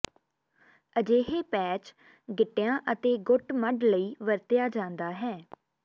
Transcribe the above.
ਅਜਿਹੇ ਪੈਚ ਗਿੱਟਿਆ ਅਤੇ ਗੁੱਟ ਮੱਡ ਲਈ ਵਰਤਿਆ ਜਾਦਾ ਹੈ